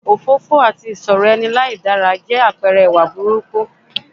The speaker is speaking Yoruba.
Òfófófó àti ìsọ̀rọ̀ ẹni láìdára jẹ́ àpẹ̀rẹ ìwà burúkú